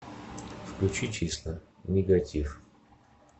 включи числа нигатив